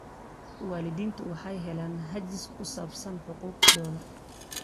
Waalidiintu waxay helaan hagis ku saabsan xuquuqdooda.